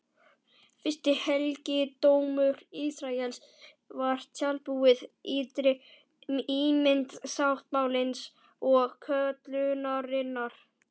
Fyrsti helgidómur Ísraels var tjaldbúð, ytri ímynd sáttmálans og köllunarinnar.